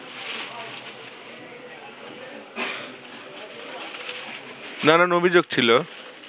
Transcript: নানান অভিযোগ ছিল